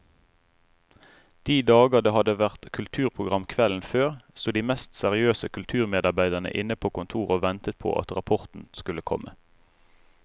De dager det hadde vært kulturprogram kvelden før, sto de mest seriøse kulturmedarbeidere inne på kontoret og ventet på at rapporten skulle komme.